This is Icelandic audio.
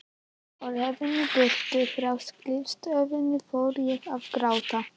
Á leiðinni burt frá skrifstofunni fór ég að gráta.